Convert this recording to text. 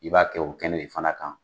I b'a kɛ o kɛnɛ de fana kan.